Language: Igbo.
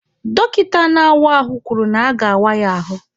Dọkịta na-awa ahụ kwuru na aga-awa ya ahụ.